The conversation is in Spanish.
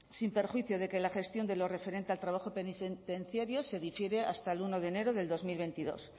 sin perjuicio de que la gestión de lo referente al trabajo penitenciario se difiere hasta el uno de enero del dos mil veintidós